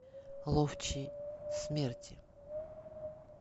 ловчий смерти